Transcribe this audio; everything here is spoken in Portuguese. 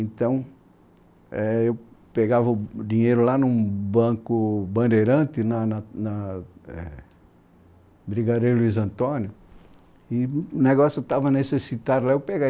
Então, é eu pegava o dinheiro lá num banco bandeirante, na na Brigadeiro Luiz Antônio, e o negócio estava necessitado, lá eu pegava.